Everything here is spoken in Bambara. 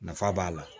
Nafa b'a la